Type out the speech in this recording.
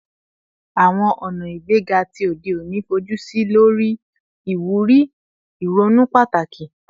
Awọn ọna igbega ti ode oni fojusi lori iwuri ironu pataki